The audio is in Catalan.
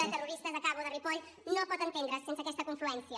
de terroristes acabo de ripoll no pot entendre’s sense aquesta confluència